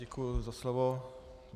Děkuji za slovo.